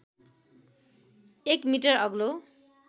१ metre अग्लो